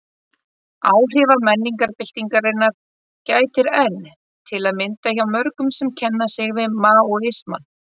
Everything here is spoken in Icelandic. Áhrifa menningarbyltingarinnar gætir enn, til að mynda hjá mörgum sem kenna sig við Maóisma.